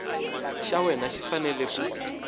xa wena xi fanele ku